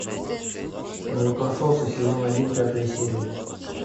молокососы сезон один пятая серия